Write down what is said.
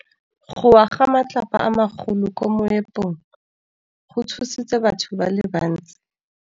Go wa ga matlapa a magolo ko moepong go tshositse batho ba le bantsi.